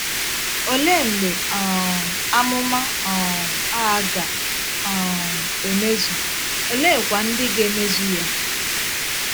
Olee mgbe um amụma um a ga - um emezu, oleekwa ndị ga - emezu ya?